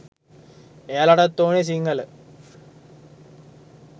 එයාලටත් ඕනේ සිංහල